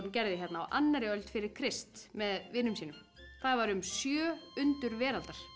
gerði á annarri öld fyrir Krist með vinum sínum það var um sjö undur veraldar